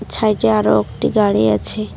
ছাইডে আরো একটি গাড়ি আছে।